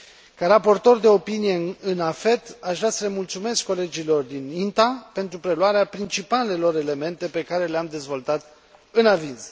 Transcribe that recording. Ca raportor de opinie în AFET, aș vrea să le mulțumesc colegilor din INTA pentru preluarea principalelor elemente pe care le am dezvoltat în aviz.